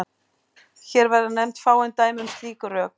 Hér verða nefnd fáein dæmi um slík rök.